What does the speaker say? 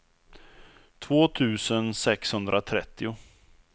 två tusen sexhundratrettio